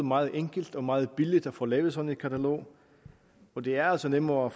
meget enkelt og meget billigt at få lavet sådan et katalog og det er altså nemmere